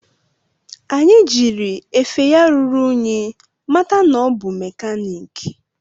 Anyi jiri efe ya ruru unyi mata na ọ bụ mekaniki